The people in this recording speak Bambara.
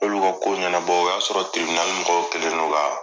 olu ka ko ɲɛnabɔ o y'a sɔrɔ mɔgɔw kɛlen do ka